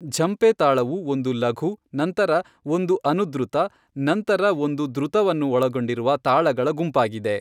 ಝಂಪೆ ತಾಳವು ಒಂದು ಲಘು, ನಂತರ ಒಂದು ಅನುದ್ರುತ, ನಂತರ ಒಂದು ದ್ರುತವನ್ನು ಒಳಗೊಂಡಿರುವ ತಾಳಗಳ ಗುಂಪಾಗಿದೆ.